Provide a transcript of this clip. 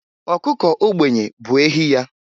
Ọkụkọ ogbenye bụ ehi ya.